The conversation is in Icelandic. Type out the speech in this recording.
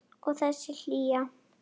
Og þessi hlýja.